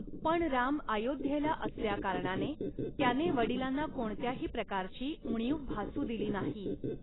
पण राम अयोध्येला असल्याकारणाने त्याने वडिलांना कोणत्याही प्रकारची उणीव भासू दिली नाही.